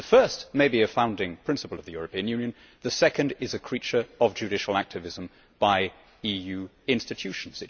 The first may be a founding principle of the European Union, the second is a creature of judicial activism by EU institutions.